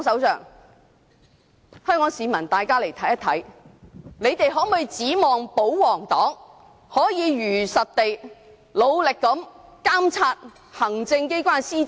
請香港市民看一看，他們能否指望保皇黨可以如實地、努力地監察行政機關施政？